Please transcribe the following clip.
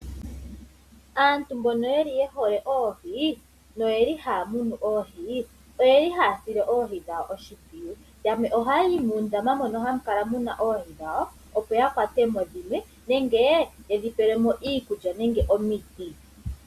Aantu mbono ye hole oohi nohaya munu oohi ohaya sile oohi dhawo oshimpwiyu. Yamwe ohaya yi muundama mono mu na oohi dhawo, opo ya kwate mo oohi dhimwe nenge ye dhi pele mo iikulya nenge omiti.